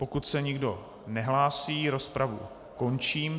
Pokud se nikdo nehlásí, rozpravu končím.